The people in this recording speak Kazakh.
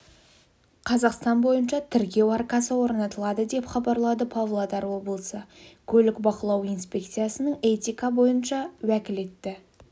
қазақстан бойынша тіркеу аркасы орнатылады деп хабарлады павлодар облысы көлік бақылау инспекциясының этика бойынша уәкілетті